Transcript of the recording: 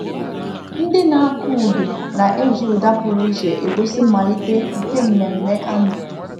Ndị na-akụ udu na-eji ụda pụrụ iche egosi mmalite nke mmemme anụ